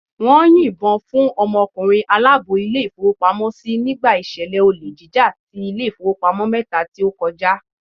Wón yìn bo fún ọmọ ọkùnrin aláàbò Ilé ìfowópamósí nígbà ìṣẹ̀lẹ̀ olè jíjà ti Ilé ìfowópamọ́ mẹ́ta tí ó kọjá